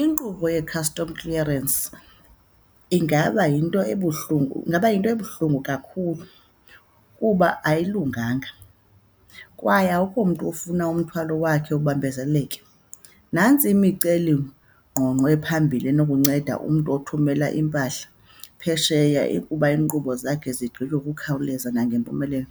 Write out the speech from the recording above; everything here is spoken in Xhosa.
Inkqubo ye-custom clearance ingaba yinto ebuhlungu, ingaba yinto ebuhlungu kakhulu kuba ayilunganga kwaye akukho mntu ofuna umthwalo wakhe ubambezeleke. Nantsi imicelingqongqo ephambili enokunceda umntu othumela impahla phesheya, ukuba iinkqubo zakhe zigqitywe ngokukhawuleza nangempumelelo.